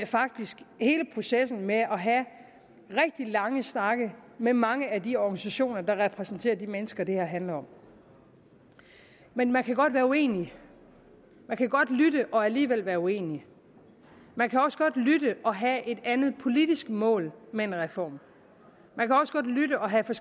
faktisk hele processen med at have rigtig lange snakke med mange af de organisationer der repræsenterer de mennesker det her handler om men man kan godt være uenig man kan godt lytte og alligevel være uenig man kan også godt lytte og have et andet politisk mål med en reform man kan også godt lytte og have